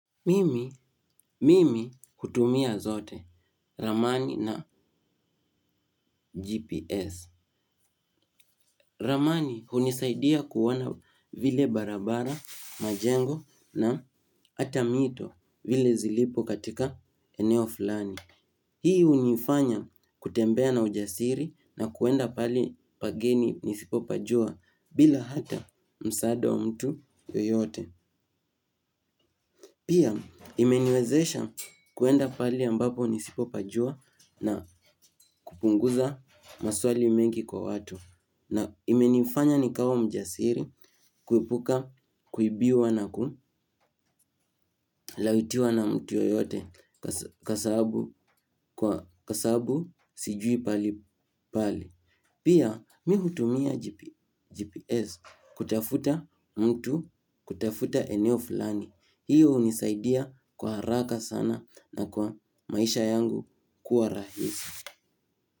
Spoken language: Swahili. Mimi, mimi hutumia zote, ramani na GPS. Ramani hunisaidia kuona vile barabara, majengo na hata mito vile zilipo katika eneo fulani. Hii hunifanya kutembea na ujasiri na kwenda mahali pageni nisipopajua bila hata msaada wa mtu yoyote. Pia, imeniwezesha kwenda pahali ambapo nisipo pajua na kupunguza maswali mengi kwa watu. Na imeniifanya nikawa mjasiri, kuepuka, kuibiwa na kulawitiwa na mtu yoyote kwa sababu sijui pahali pale. Pia mimi hutumia GPS kutafuta mtu kutafuta eneo fulani. Hiyo hunisaidia kwa haraka sana na kwa maisha yangu kwa rahisi.